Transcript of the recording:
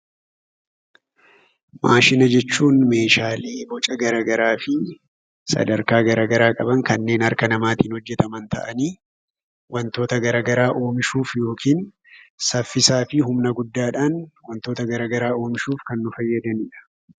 Maashina jechuun meeshaalee boca garagaraa fi sadarkaa garagaraa qaban kanneen harka namaatiin hojjetaman ta'anii, wantoota garagaraa oomishuuf yookiin saffisaa fi humna guddaadhaan wantoota garagaraa oomishuuf kan nu fayyadani dhaa.